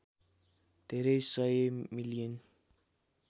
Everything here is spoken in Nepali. धेरै १०० मिलियन